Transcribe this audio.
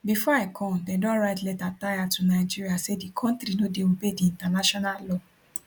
bifor i come dem don write letter tire to nigeria say di kontri no dey obey di international law